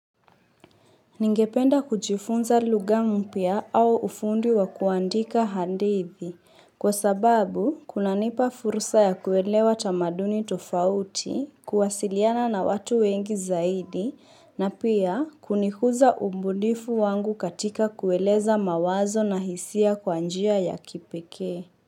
Ningependa kujifunza lugha mpya au ufundi wa kuandika hadithi kwa sababu kuna nipa fursa ya kuelewa tamaduni tofauti kuwasiliana na watu wengi zaidi. Na pia kunikuza ubunifu wangu katika kueleza mawazo na hisia kwa njia ya kipekee.